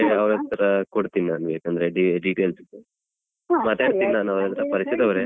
ಹಾಗಾದ್ರೆ ಅವ್ರತ್ರ ಕೊಡ್ತೀನಿ ನಾನು ಯಾಕಂದ್ರೆ details ಅದ್ದು ಮಾತಾಡ್ತೀನಿ ನಾನು ಅವ್ರತ್ರ ಪರಿಚಯದವರೇ.